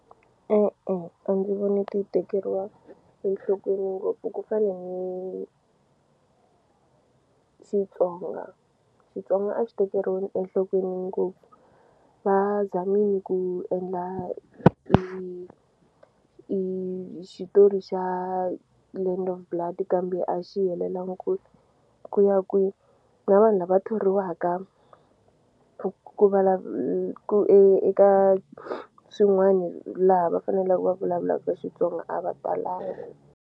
E-e a ndzi voni ti tekeriwa enhlokweni ngopfu ku fana ni Xitsonga Xitsonga a xi tekeriwi enhlokweni ngopfu va zamini ku endla hi i i xitori xa Land of Blood kambe a xi helelangi ku ku ya kwi na vanhu lava thoriwaka ku ku e eka swin'wani laha va fanelaku va vulavulaka Xitsonga a va talanga.